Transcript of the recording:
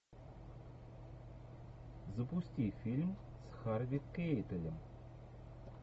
запусти фильм с харви кейтелем